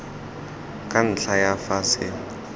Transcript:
ka ntlha ya fa se